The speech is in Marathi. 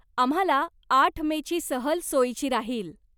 आम्हाला आठ मेची सहल सोयीची राहील.